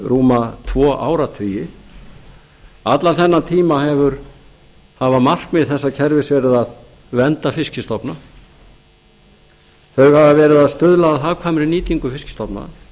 rúma tvo áratugi allan þennan tíma hafa markmið þessa kerfis verið að vernda fiskistofa þau hafa verið að stuðla að hagkvæmri nýtingu fiskstofna